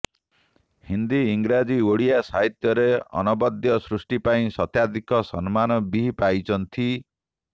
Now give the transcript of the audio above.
ହିନ୍ଦି ଇଂରାଜୀ ଓ ଓଡ଼ିଆ ସାହିତ୍ୟରେ ଅନବଦ୍ୟ ସୃଷ୍ଟି ପାଇଁ ଶତାଧିକ ସମ୍ମାନ ବି ପାଇଛନ୍ତି